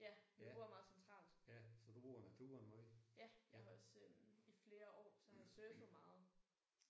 Ja vi bor meget centralt. Ja jeg har også i flere år så har jeg surfet meget